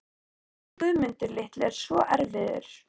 Hann Guðmundur litli er svo erfiður.